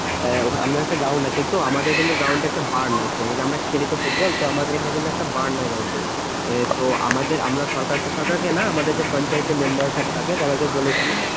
আহ আমাদের একটা ground আছে তো আমাদের কিন্তু ground খেলি তো ফুটবল তো আমাদের আমরা সরকারকে সরকারকে না আমাদের পঞ্চায়েত এর মেম্বার থাকে সবাইকে বলেছি